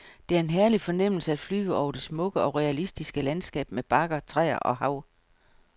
Det er en herlig fornemmelse at flyve over det smukke og realistiske landskab med bakker, træer og hav.